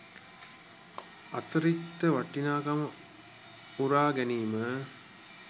අතිරික්ත වටිනාකම උරා ගැනීම